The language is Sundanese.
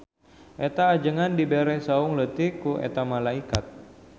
Eta ajengan dibere saung leutik ku eta malaikat.